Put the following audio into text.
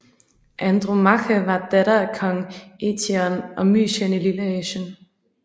Andromache var datter af kong Eetion af Mysien i Lilleasien